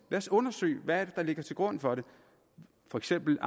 os undersøge hvad der ligger til grund for dem for eksempel